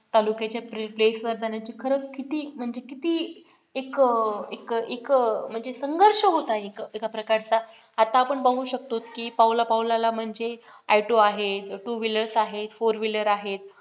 तालुक्याच्या place वर जाण्याची खरच किती म्हणजे किती एक एक म्हणजे संघर्ष होता एक प्रकारचा आता आपण बघू शकतो की पावला पावलाला म्हणजे auto आहेत two wheeler आहे four wheeler आहेत